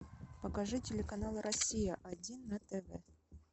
покажи телеканал россия один на тв